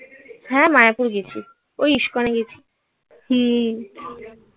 হ্যাঁ মায়াপুর গেছি. ওই ইস্কনে গেছি. হুম.